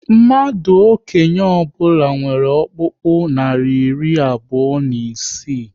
Mmadụ okenye ọbụla nwere ọkpụkpụ narị iri abụọ na isii